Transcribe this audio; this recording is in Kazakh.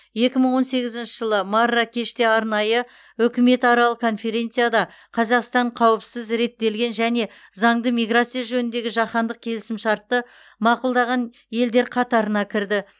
екі мың он сегізінші жылы марракеште арнайы үкіметаралық конференцияда қазақстан қауіпсіз реттелген және заңды миграция жөніндегі жаһандық келісімшартты мақұлдаған елдер қатарына кірді